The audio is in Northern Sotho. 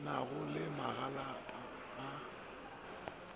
na go le magalapa a